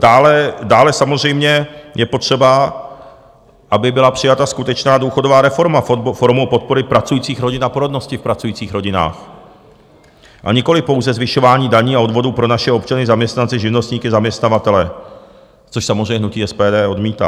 Dále samozřejmě je potřeba, aby byla přijata skutečná důchodová reforma formou podpory pracujících rodin a porodnosti v pracujících rodinách, a nikoli pouze zvyšování daní a odvodů pro naše občany, zaměstnance, živnostníky, zaměstnavatele, což samozřejmě hnutí SPD odmítá.